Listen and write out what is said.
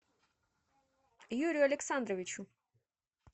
юрию александровичу